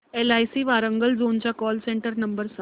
LIC Warangal zone चा call centre number सांग